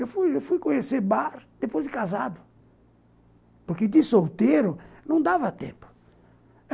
Eu fui fuiconhecer bar depois de casado, porque de solteiro não dava tempo.